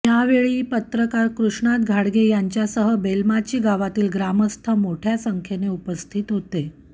यावेळी पत्रकार कृष्णात घाडगे यांच्यासह बेलमाची गावातली ग्रामस्थ मोठय़ा संख्येने उपस्थित होते